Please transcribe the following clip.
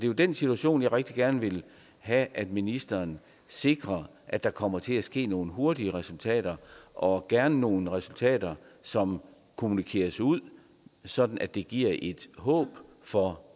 jo i den situation jeg rigtig gerne vil have at ministeren sikrer at der kommer til at ske nogle hurtige resultater og gerne nogle resultater som kommunikeres ud sådan at det giver et håb for